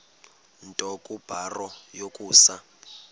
nto kubarrow yokusa